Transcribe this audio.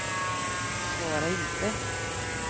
svara inte